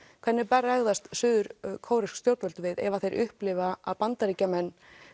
hvernig bregðast suður stjórnvöld við ef þeir upplifa að Bandaríkjamenn